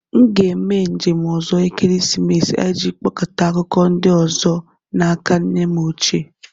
M ga-eme njem ọzọ ekeresimesi a iji kpokọta akụkọ ndị ọzọ n'aka nne m ochie